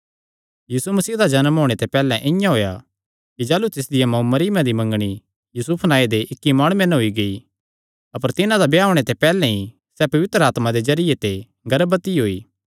यीशु मसीह दा जन्म इआं होएया कि जाह़लू तिसदी माँ मरियमा दी मंगणी यूसुफे सौगी तां होई गेई अपर तिन्हां दा ब्याह होणे ते पैहल्ले ई सैह़ पवित्र आत्मा दिया तरफा ते गर्भवती होई